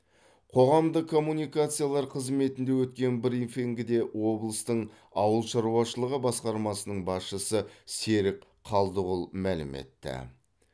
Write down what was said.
қоғамдық коммуникациялар қызметінде өткен брифингіде облыстың ауыл шаруашылығы басқармасының басшысы серік қалдығұл мәлім етті